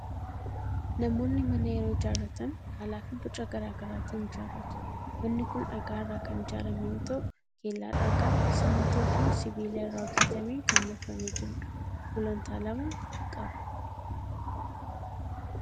Namoonni mana yeroo ijaarratan haalaa fi boca garaa garaatiin ijaarratu. Manni kun dhagaa irraa kan ijaarame yoo ta'u, kellaa dhagaa, simmintoo fi sibiila irraa hojjetameen kan marfamee jirudha. Gulantaa lama qaba.